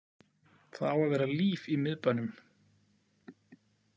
Það á að vera líf í miðbænum.